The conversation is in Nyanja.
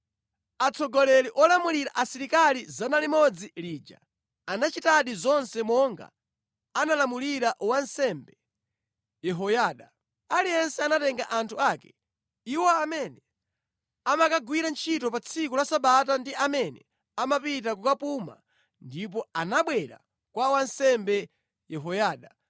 Atsogoleri olamulira asilikali 100 aja anachitadi zonse monga analamulira wansembe Yehoyada. Aliyense anatenga anthu ake, iwo amene amakagwira ntchito pa tsiku la Sabata ndi amene amapita kukapuma ndipo anabwera kwa wansembe Yehoyada.